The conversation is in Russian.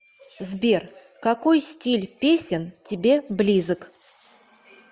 сбер какой стиль песен тебе близок